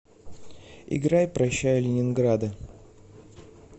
играй прощай ленинграда